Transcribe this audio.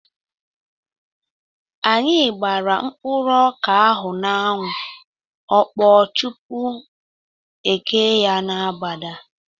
Anyị gbara mkpụrụ ọka ahụ n'anwụ, ọ kpọọ tupu e ghee ya n'agbada